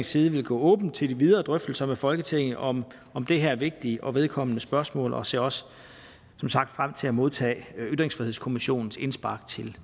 side vil gå åbent til de videre drøftelser med folketinget om om det her vigtige og vedkommende spørgsmål og ser også som sagt frem til at modtage ytringsfrihedskommissionens indspark til